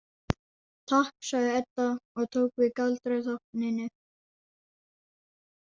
Takk, sagði Edda og tók við galdratákninu.